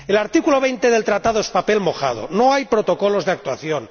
El artículo 20 del Tratado es papel mojado no hay protocolos de actuación